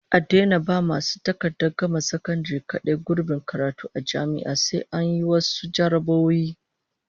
An daina ba masu takardar gama sakandare kadai gurbin karatu a jami'a, sai an yi wasu jarrabawoyi